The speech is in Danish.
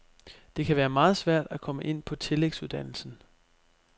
Det kan være meget svært at komme ind på tillægsuddannelsen.